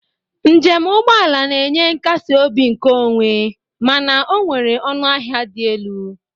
Njem ụgbọala na-enye nkasi obi nkeonwe mana ọ nwere ọnụ ahịa dị elu.